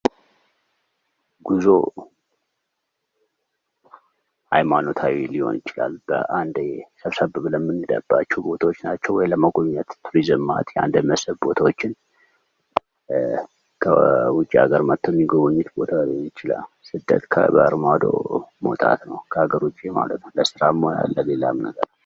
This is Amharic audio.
ጉዞ ሀይማኖታዊ ሊሆን ይችላል። በአንዴ ሰብሰብ ብለን የምንሄድባቸዉ ቦታዎች ናቸዉ። ወይ ለመጎብኘት የመስህብ ቦታዎችን ከዉጭ አገር መጠዉ የሚጎበኙት ቦታ ሊሆን ይችላል። ስደት ከባህር ማዶ መዉጣት ነዉ። ከሀገር ዉጭ ማለት ነዉ ለስራም ሆነ ለሌላም ነገር።